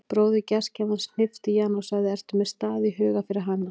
Bróðir gestgjafans hnippti í hana og sagði: ertu með stað í huga fyrir hana?